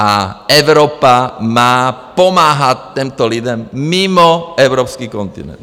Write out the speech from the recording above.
A Evropa má pomáhat těmto lidem mimo evropský kontinent.